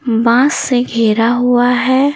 बास से घेरा हुआ है।